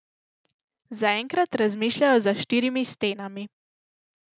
Zaenkrat razmišljajo za štirimi stenami.